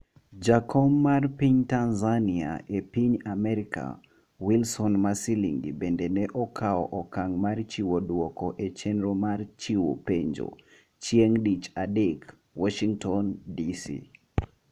jakom mar piny Tanzania e piny Amerka, Wilson Masilingi bende ne okawo okang' mar chiwo dwoko e chenro mar chiwo penjo chieng' dich adek, Warshington, DC